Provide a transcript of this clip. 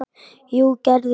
Jú, gerðu það